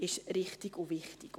Dies ist richtig und wichtig.